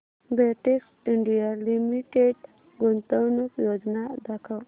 Betex India limited गुंतवणूक योजना दाखव